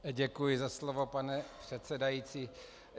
Děkuji za slovo, pane předsedající.